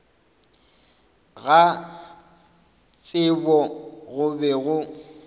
ga tsebo go be go